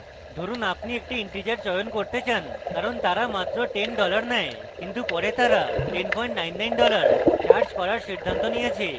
ধরুন আপনি একটি integer চয়ন করেন কারণ তারা মাত্র 10 dollars নেয় কিন্তু পরে তারা 1099 dollars charged করার সিদ্ধান্ত নিয়েছে